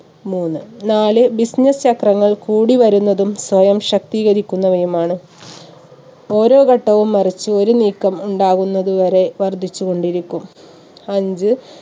മൂന്ന് നാല് business ചക്രങ്ങൾ കൂടി വരുന്നതും സ്വയം ശക്തീകരിക്കുന്നതുമാണ്. ഒരോ ഘട്ടവും മറിച്ച് ഒരു നീക്കം ഉണ്ടാവുന്നത് വരെ വർധിച്ചു കൊണ്ടിരിക്കും. അഞ്ച്